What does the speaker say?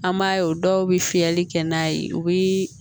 An b'a ye o dɔw bɛ fiyɛli kɛ n'a ye u bi